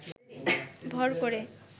ভর করে